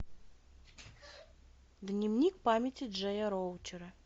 дневник памяти джея роучера